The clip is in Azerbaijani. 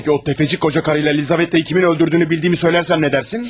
Bəs o sələmçi qoca arvadla Lizavettanı kimin öldürdüyünü bildiyimi desəm, nə deyərsən?